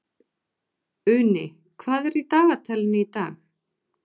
Uni, hvað er í dagatalinu í dag?